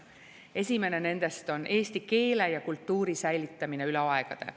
Esimene nendest on eesti keele ja kultuuri säilitamine üle aegade.